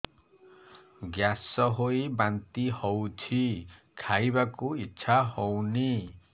gas ହୋଇ ବାନ୍ତି ହଉଛି ଖାଇବାକୁ ଇଚ୍ଛା ହଉନି